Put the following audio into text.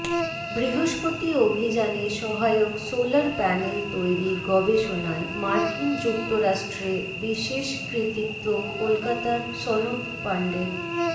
বৃহস্পতি অভিযানে সহায়ক সোলার প্যানেল তৈরি গবেষণায় মার্কিন যুক্তরাষ্ট্রে বিশেষ কৃতিত্ব কলকাতার সনৎ পাণ্ডের